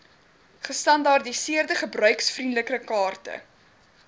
gestandaardiseerde gebruikervriendelike kaarte